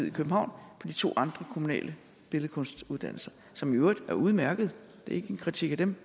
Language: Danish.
i københavn på de to andre kommunale billedkunstuddannelser som i øvrigt er udmærkede det er ikke en kritik af dem